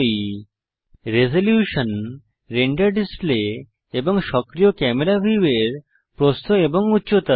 resolution resolution হল render display এবং সক্রিয় ক্যামেরা ভিউয়ের প্রস্থ ও উচ্চতা